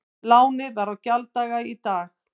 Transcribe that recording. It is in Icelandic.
Lánið var á gjalddaga í dag